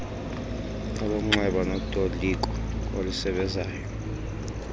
olomnxeba notoliko olusebezayo